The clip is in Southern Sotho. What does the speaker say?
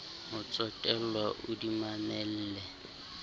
ho tsotellwa o di mamelle